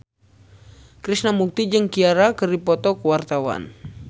Krishna Mukti jeung Ciara keur dipoto ku wartawan